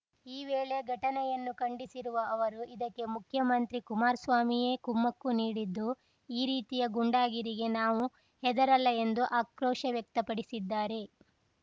ಈ ವೇಳೆ ಘಟನೆಯನ್ನು ಖಂಡಿಸಿರುವ ಅವರು ಇದಕ್ಕೆ ಮುಖ್ಯಮಂತ್ರಿ ಕುಮಾರಸ್ವಾಮಿಯೇ ಕುಮ್ಮಕ್ಕು ನೀಡಿದ್ದು ಈ ರೀತಿಯ ಗೂಂಡಾಗಿರಿಗೆ ನಾವು ಹೆದರಲ್ಲ ಎಂದು ಆಕ್ರೋಶ ವ್ಯಕ್ತಪಡಿಸಿದ್ದಾರೆ